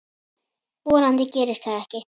Vonandi gerist það ekki.